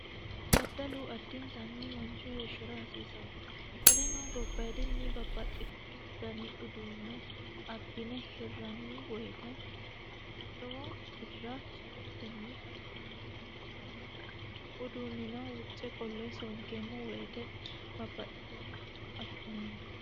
Daddalu adintani manchu beetira hasiisano. Qoleno gobbaadi uduunne abbine hirranni woyiite lowo birra soorroteni afi'neemmoho ikkanna kuni uduunnino wuce qolle sonkeemmo woyiite babbaxitino e"o afi'neemmo.